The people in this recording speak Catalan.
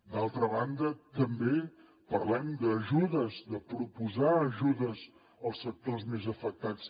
d’altra banda també parlem d’ajudes de proposar ajudes als sectors més afectats